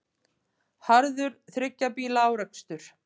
Harður þriggja bíla árekstur